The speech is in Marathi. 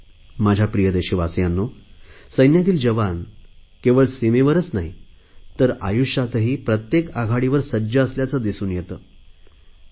माझ्या प्रिय देशवासियांनो सैन्यातील जवान केवळ सीमेवरच नाही तर आयुष्यात प्रत्येक आघाडीवर सज्ज असल्याचे दिसून येते